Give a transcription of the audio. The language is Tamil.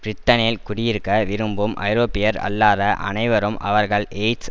பிரிட்டனில் குடியிருக்க விரும்பும் ஐரோப்பியர் அல்லாத அனைவரும் அவர்கள் எய்ட்ஸ்